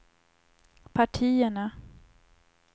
partierna